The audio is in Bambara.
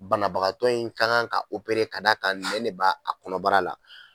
Banabagagantɔ in ka kan ka ka d'a ka nɛn de ba a kɔnɔbara la